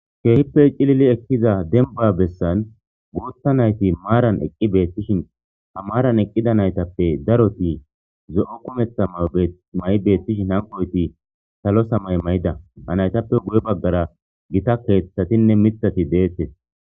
keehippe cilili ekkiza denba bessan guutha nayti maaran eqqi beettishin ha maaran eqqida naytappe daroti zo7o kumetha mama7i beettishin hankoyti salo sa may may7ida hanaytappe guye baggara gita keeththatinne mitati deettes